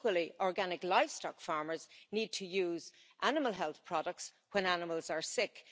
Equally, organic livestock farmers need to use animal health products when animals are sick.